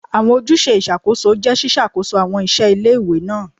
Awọn ojuse iṣakoso jẹ ṣiṣakoso awọn iṣẹ ile-iwe naa